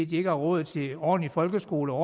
de ikke har råd til ordentlige folkeskoler og